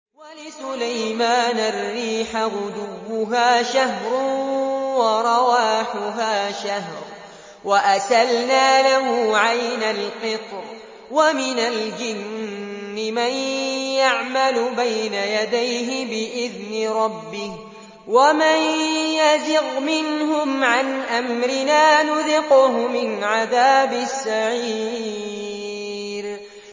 وَلِسُلَيْمَانَ الرِّيحَ غُدُوُّهَا شَهْرٌ وَرَوَاحُهَا شَهْرٌ ۖ وَأَسَلْنَا لَهُ عَيْنَ الْقِطْرِ ۖ وَمِنَ الْجِنِّ مَن يَعْمَلُ بَيْنَ يَدَيْهِ بِإِذْنِ رَبِّهِ ۖ وَمَن يَزِغْ مِنْهُمْ عَنْ أَمْرِنَا نُذِقْهُ مِنْ عَذَابِ السَّعِيرِ